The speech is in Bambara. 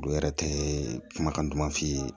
O yɛrɛ tɛ kumakan duman f'i ye